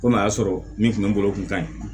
Komi a y'a sɔrɔ min kun bɛ n bolo o kun ka ɲi